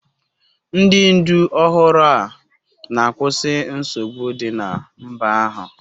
Ndị ndu ọhụrụ a na-akwụsị nsogbu dị na mba ahụ.